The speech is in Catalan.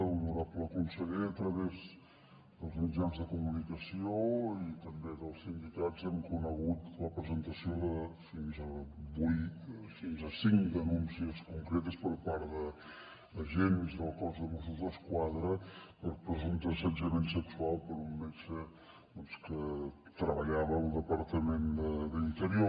honorable conseller a través dels mitjans de comunicació i també dels sindicats hem conegut la presentació de fins a cinc denúncies concretes per part d’agents del cos de mossos d’esquadra per presumpte assetjament sexual per un metge que treballava al departament d’interior